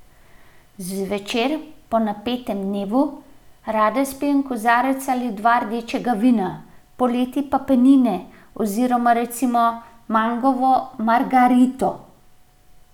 Zvečer, po napetem dnevu, rada spijem kozarec ali dva rdečega vina, poleti pa penine oziroma recimo mangovo margarito.